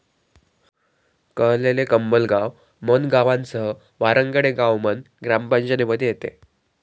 कळलेले, कंबलगाव, मन गावांसह वारांगडे गाव मन ग्रामपंचायतीमध्ये येते.